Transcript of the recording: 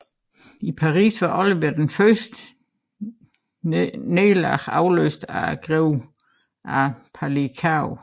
I Paris var Ollivier efter de første nederlag afløst af greven af Palicao